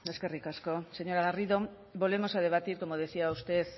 eskerrik asko señora garrido volvemos a debatir como decía usted